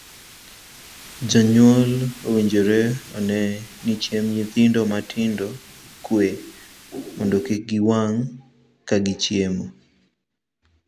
Jonyuol owinjore onee ni chiemb nyithindo matindo okue mondo kik giwang' ka gichiemo.